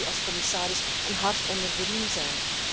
Dat moet u als commissaris een hart onder de riem zijn.